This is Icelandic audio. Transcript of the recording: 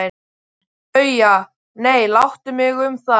BAUJA: Nei, láttu mig um það.